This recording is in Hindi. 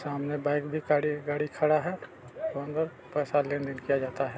सामने बाइक खड़ी गाड़ी खड़ा है पैसा लेन-देन किया जाता है।